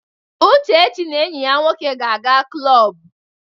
Uchechi na enyi ya nwoke ga-aga klọb.